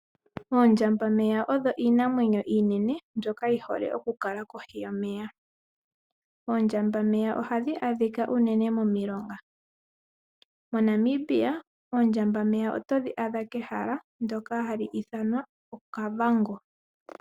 Oondjamba meya odho iinamwenyo iinene mbyoka yihole oku kala kohi yomeya. Oondjamba meya ohadhi adhika unene momilonga, moNamibia oondjamba meya oto dhi adha kehala ndoka hali ithanwa okavango.